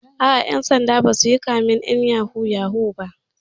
Aa, ƴan sanda ba zasu yi kamen ƴan yahoo yahoo ba